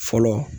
Fɔlɔ